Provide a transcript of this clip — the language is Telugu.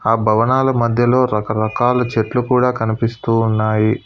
ఆ భవనాల మధ్యలో రకరకాల చెట్లు కూడా కనిపిస్తూ ఉన్నాయి.